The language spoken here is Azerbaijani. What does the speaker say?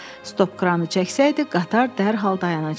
Stopkranı çəksəydi, qatar dərhal dayanacaqdı.